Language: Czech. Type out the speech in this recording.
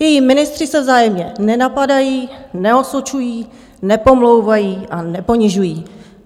Její ministři se vzájemně nenapadají, neosočují, nepomlouvají a neponižují.